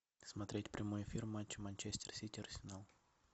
смотреть прямой эфир матча манчестер сити арсенал